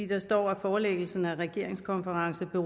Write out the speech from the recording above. der står at forelæggelse af regeringskonference